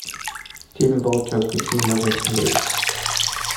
фильм волчок какие можно посмотреть